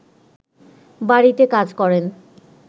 বাড়িতে কাজ করেন